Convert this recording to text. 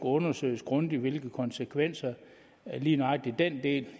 undersøges grundigt hvilke konsekvenser lige nøjagtig den del